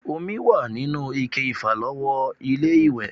Omi wà nínú ike ìfàlọ́wọ́ ilé-ìwẹ̀